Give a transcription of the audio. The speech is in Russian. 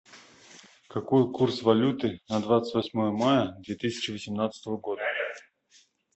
какой курс валюты на двадцать восьмое мая две тысячи восемнадцатого года